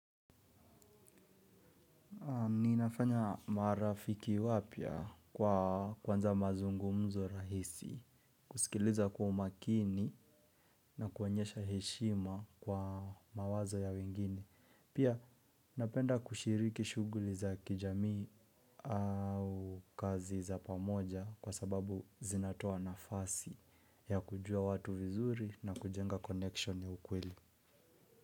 Ninafanya marafiki wapya kwa kwanza mazungumzo rahisi, kusikiliza kwa umakini na kuonyesha heshima kwa mawazo ya wengine. Pia napenda kushiriki shuguli za kijami au kazi za pamoja kwa sababu zinatoa nafasi ya kujua watu vizuri na kujenga connection ya ukweli.